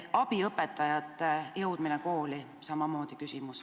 Abiõpetajate jõudmine kooli on samamoodi küsimus.